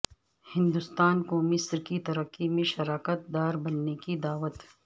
ہندوستان کو مصر کی ترقی میں شراکت دار بننے کی دعوت